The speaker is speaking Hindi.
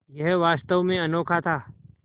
यह वास्तव में अनोखा था